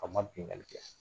An ma binkanni kɛ